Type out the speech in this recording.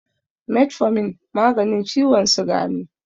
Metfomin maganin ciwon siga ne.